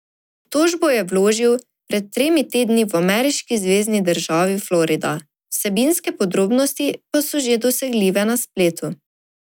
Tožbo je vložil pred tremi tedni v ameriški zvezni državi Florida, vsebinske podrobnosti pa so že dosegljive na spletu.